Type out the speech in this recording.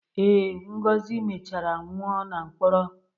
Ee, Ngozi mechara nwụọ na mkpọrọ.